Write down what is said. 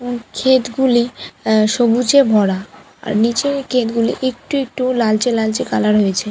ক্ষেত গুলি আ সবুজে ভরা আর নিচের ক্ষেত গুলি একটু লালচে লালচে কালার হয়েছে ।